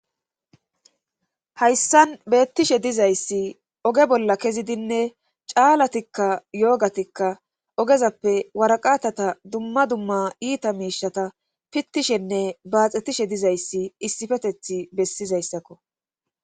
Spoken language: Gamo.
Hayssan beettishe dizayssi oge bolla kezidinne caalatikka yoogatikka ogezappe waraqatata dumma dumma iita miishata pittishenne baaxettishe dizayssi issifeteth bessizayssakko